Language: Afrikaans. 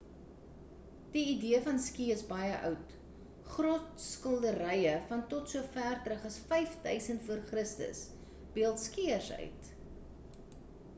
die idee van ski is baie oud grotsskilderye van tot so ver terug as 5 000 v c beeld skieërs uit